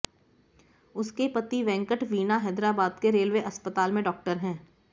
उसके पति वेंकट वीणा हैदराबाद के रेलवे अस्पताल में डॉक्टर है